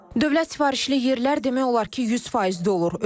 Dövlət sifarişli yerlər demək olar ki, 100% dolur.